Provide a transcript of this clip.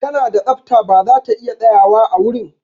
Ta na da tsafta ba za ta iya tsayawa a wurin.